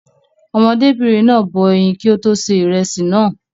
Ọmọdébìnrin náà bọ ẹyin kí ó tó ṣe ìrẹsì náà.